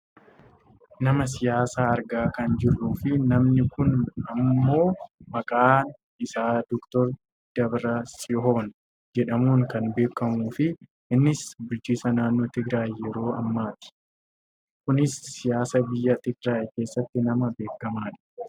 Nama siyaasaa argaa kan jirruu fi namni kun ammoo maqaan isaa Dr Dabratsihoon jedhamuun kan beekamuu fi innis bulchaa naannoo Tigiraayi yeroo ammaati. Kunis siyaasa biyya Tigiraayi keessatti nama beekamudha.